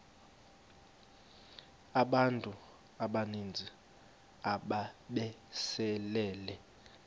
abantu abaninzi ababesele